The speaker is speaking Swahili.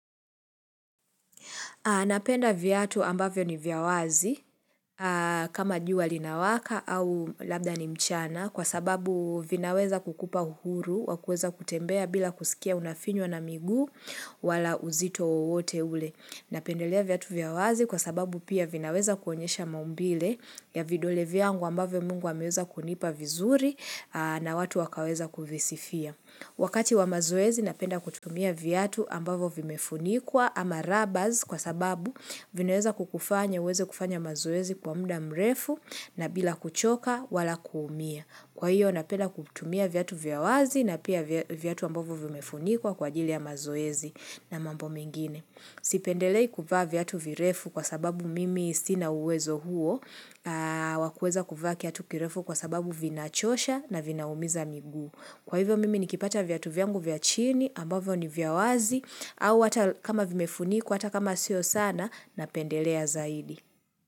Napenda viatu ambavyo ni vya wazi kama jua linawaka au labda ni mchana kwa sababu vinaweza kukupa uhuru wa kuweza kutembea bila kusikia unafinywa na miguu wala uzito wowote ule. Napendelea viatu vya wazi kwa sababu pia vinaweza kuonyesha maumbile ya vidole vyangu ambavyo mungu ameweza kunipa vizuri na watu wakaweza kuvisifia. Wakati wa mazoezi napenda kutumia viatu ambavyo vimefunikwa ama rabaz kwa sababu vinaeza kukufanya uweze kufanya mazoezi kwa muda mrefu na bila kuchoka wala kuumia. Kwa hiyo napenda kutumia viatu vya wazi na pia viatu ambavyo vimefunikwa kwa ajili ya mazoezi na mambo mengine. Sipendelei kuvaa viatu virefu kwa sababu mimi sina uwezo huo wakuweza kuvaa kiatu kirefu kwa sababu vinachosha na vinaumiza miguu. Kwa hivyo mimi nikipata viatu vyangu vya chini ambavyo ni vya wazi au hata kama vimefunikwa hata kama sio sana napendelea zaidi.